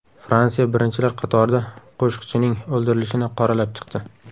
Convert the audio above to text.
Fransiya birinchilar qatorida Qoshiqchining o‘ldirilishini qoralab chiqdi.